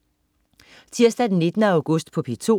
Tirsdag den 19. august - P2: